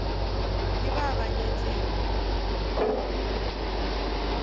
ke ba ba mo nyetšego